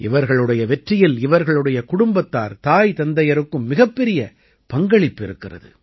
இவர்களுடைய வெற்றியில் இவர்களுடைய குடும்பத்தார் தாய் தந்தையருக்கும் மிகப்பெரிய பங்களிப்பு இருக்கிறது